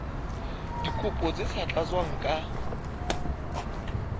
dikopo tse sa tlatswang ka